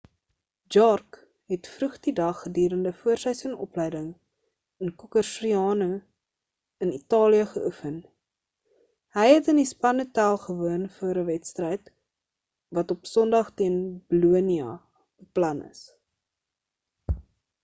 jarque het vroeg in die dag gedurend voorseisoen opleiding in cocerciano in italië geoefen hy het in die span hotel gewoon voor 'n wedstryd wat op sondag teen bolonia beplan is